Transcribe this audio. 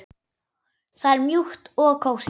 Það er mjúkt og kósí.